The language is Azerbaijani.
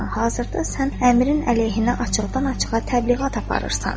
Hazırda sən Əmirin əleyhinə açıqdan-açığa təbliğat aparırsan.